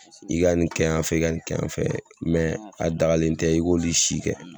I ka nin kɛ yan fɛ, i ka nin kɛ yan fɛ mɛ a dagalen tɛ i k'olu si kɛ.